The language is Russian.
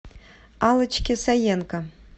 аллочке саенко